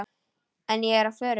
En ég er á förum.